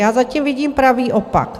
Já zatím vidím pravý opak.